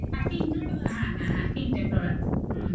হ্যাঁ হ্যাঁ হ্যাঁ তিনটে floor আছে